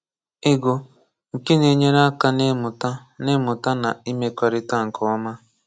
Ịgụ, nke na-enyere aka n’ịmụta n’ịmụta na imekọrịta nke ọma.